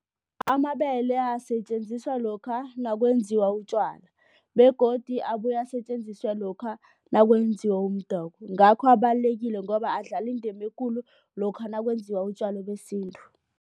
Amabele asetjenziswa lokha nakwenziwa utjwala begodu abuya asetjenziswa lokha nakwenziwa umdoko. Ngakho abalulekile ngoba adlala indima ekulu lokha nakwenziwa utjwala besintu.